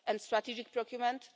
and strategic procurement.